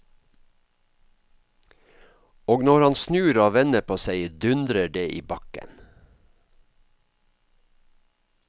Og når han snur og vender på seg, dundrer det i bakken.